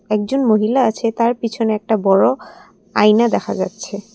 একজন মহিলা আছে তার পেছনে একটা বড়ো আয়না দেখা যাচ্ছে।